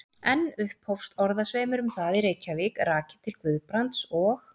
Enn upphófst orðasveimur um það í Reykjavík, rakinn til Guðbrands og